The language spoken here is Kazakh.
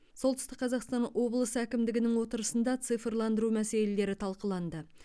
солтүстік қазақстан облысы әкімдігінің отырысында цифрландыру мәселелері талқыланды